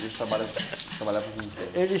E eles trabalhavam, trabalhavam com o que?